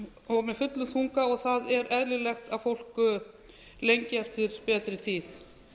og með fullum þunga það er eðlilegt að fólk lengi eftir betri tíð